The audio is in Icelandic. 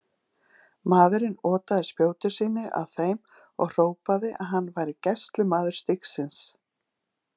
Maðurinn otaði spjóti sínu að þeim og hrópaði að hann væri gæslumaður stígsins.